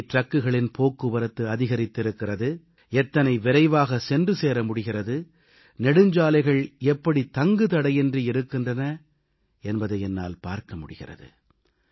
எப்படி டிரக்குகளின் போக்குவரத்து அதிகரித்திருக்கிறது எத்தனை விரைவாக சென்று சேர முடிகிறது நெடுஞ்சாலைகள் எப்படி தங்குதடையின்றி இருக்கின்றன என்பதை என்னால் பார்க்க முடிகிறது